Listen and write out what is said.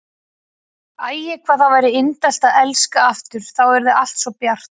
Æ, hvað það væri indælt að elska aftur, þá yrði allt svo bjart.